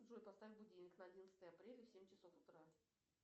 джой поставь будильник на одиннадцатое апреля в семь часов утра